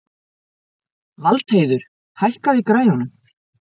Valdheiður, hækkaðu í græjunum.